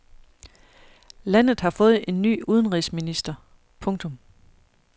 Landet har fået ny udenrigsminister. punktum